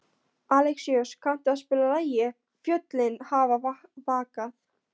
Alexíus, kanntu að spila lagið „Fjöllin hafa vakað“?